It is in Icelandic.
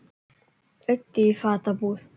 Auddi í fatabúð